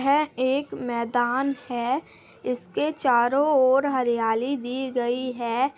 इसके चारों ओर हरियाली दी गई है।